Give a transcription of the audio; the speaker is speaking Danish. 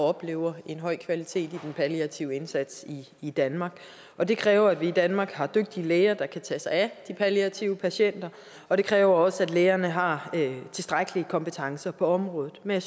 oplever en høj kvalitet i den palliative indsats i danmark og det kræver at vi i danmark har dygtige læger der kan tage sig af de palliative patienter og det kræver også at lægerne har tilstrækkelige kompetencer på området men